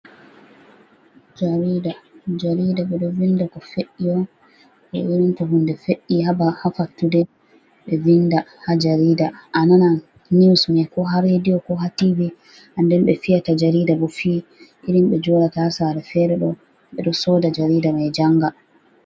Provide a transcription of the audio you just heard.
Jarida, jarida ɓe ɗo vinda ko fe'i on, to hunde fe'i ha ba ha fattude ɓe vinda ha jarida. Ananan niusman ko ha rediyo ko ha Tv.Nden ɓe fiyata jarida bo fiyi, irin ɓe joɗata ha Sare fere ɗobo ɓe ɗo Soda jarida mai janga.